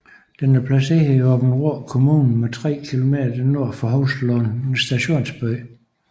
Den er placeret i Aabenraa Kommune 3 km nord for Hovslund Stationsby